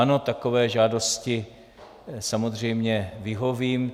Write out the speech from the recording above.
Ano, takové žádosti samozřejmě vyhovím.